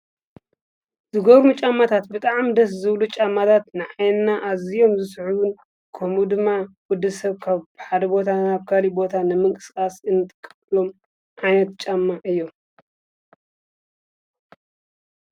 ዝገብሩሪ ምጫማታት ብጥዓም ደስ ዘብሉ ጫማታት ንኣይንና ኣዚዮም ዝስሕዩን ከምኡ ድማ ወዲ ሰብ ካብብ ሓደ ቦታ ናብ ካሊ ቦታ ነምንቅጽቃስ እንጥቀሎም ዓይነት ጫማ እዮም።